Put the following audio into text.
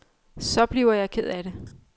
Så bliver jeg ked af det.